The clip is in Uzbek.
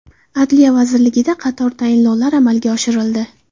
Adliya vazirligida qator tayinlovlar amalga oshirildi.